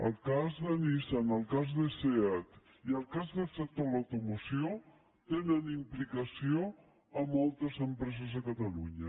el cas de nissan el cas de seat i el cas del sector de l’automoció tenen implicació en moltes empreses a catalunya